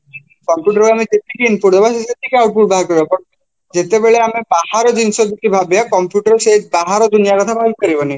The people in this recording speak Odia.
computer କୁ ଆମେ ଯେତିକି input ଦବା ସିଏ ସେତିକି output ବାହାର କରିବ but ଯେତେବେଳେ ଆମେ ବାହାର ଜିନିଷ ଯଦି ଭାବିବ computer ସେ ବାହାର ଦୁନିଆ କଥା ଭାବିପାରିବନି